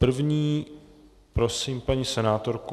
První prosím paní senátorku.